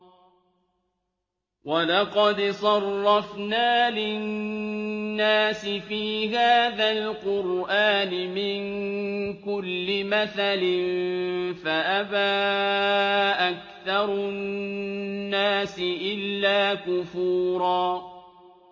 وَلَقَدْ صَرَّفْنَا لِلنَّاسِ فِي هَٰذَا الْقُرْآنِ مِن كُلِّ مَثَلٍ فَأَبَىٰ أَكْثَرُ النَّاسِ إِلَّا كُفُورًا